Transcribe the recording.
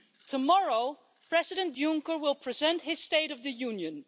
Tomorrow, President Juncker will present his State of the Union.